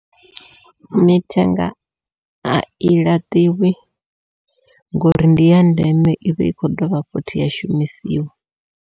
Mithenga ai laṱiwi ngori ndi ya ndeme i vha i kho dovha futhi ya shumisiwa.